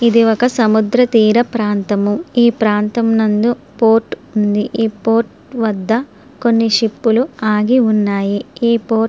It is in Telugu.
ఇది ఒక సముద్ర తీర ప్రాంతము ఈ ప్రాంతం నందు పోర్ట్ ఉంది ఈ పోర్ట్ వద్ద కొన్ని షిప్పు లు ఆగి వున్నాయి ఈ పో --